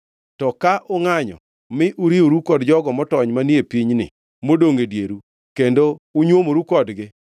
“To ka ungʼanyo mi uriworu kod jogo motony manie pinyni modongʼ e dieru kendo unywomoru kodgi,